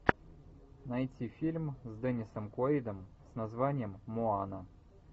найти фильм с денисом куэйдом с названием моана